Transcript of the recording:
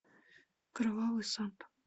кровавый санта